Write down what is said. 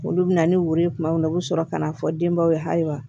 Olu bɛ na ni woro ye tuma min na u bɛ sɔrɔ ka na fɔ denbaw ye ayiwa